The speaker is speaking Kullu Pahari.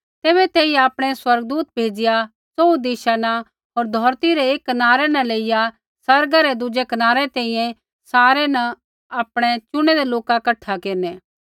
तैबै तेई आपणै स्वर्गदूत भेज़िआ च़ोहू दिशा न होर धौरती रै एकी कनारै न लेइया आसमाना रै दुज़ै कनारै तैंईंयैं सारै न आपणै चुनैदै लोका कठा केरनै